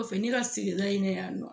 Kɔfɛ ne ka sigida i nan yan nɔ.